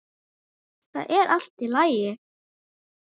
ÞAÐ ER ALLT Í LAGI!